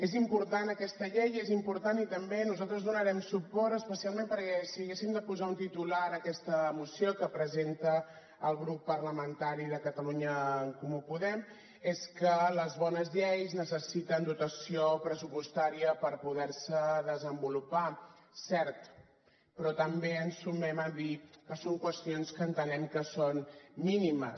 és important aquesta llei i és important i també nosaltres hi donarem suport especialment perquè si haguéssim de posar un titular a aquesta moció que presenta el grup parlamentari de catalunya en comú podem és que les bones lleis necessiten dotació pressupostària per poder se desenvolupar cert però també ens sumem a dir que són qüestions que entenem que són mínimes